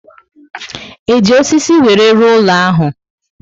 E ji osisi were rụọ ụlọ ahụ?